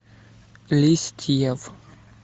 листьев